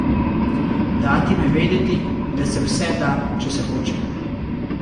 Dati jim vedeti, da se vse da, če se hoče!